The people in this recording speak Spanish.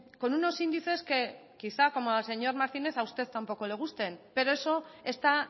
con unos índices que quizá como al señor martínez a usted tampoco le gusten pero eso está